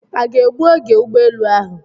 A ga-egbu oge ụgbọelu ahụ?